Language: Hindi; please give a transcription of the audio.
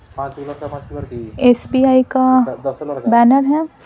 एस_पी_आई का बैनर है।